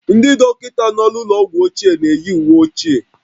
Ndị dọkịta nọ n'ụlọ ọgwụ ochie na-eyi uwe ochie